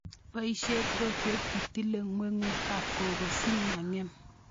Pioshe rotwet itile ngwengut ab koko si meng'em